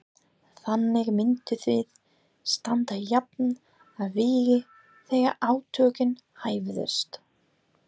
Þannig myndum við standa jafnt að vígi þegar átökin hæfust.